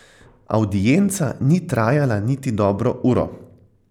Avdienca ni trajala niti dobro uro.